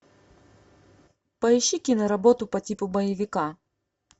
поищи киноработу по типу боевика